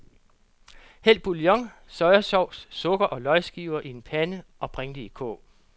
Hæld bouillon, sojasauce, sukker og løgskiver i en pande og bring det i kog.